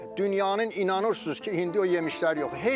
Dünyanın inanırsınız ki, indi bu yemişlər yoxdur.